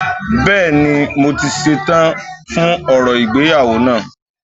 Bẹ́ẹ̀ni, mo ti ṣe tán fún orò ìgbéyàwó náà